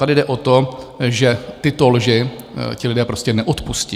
Tady jde o to, že tyto lži ti lidé prostě neodpustí.